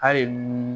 Hali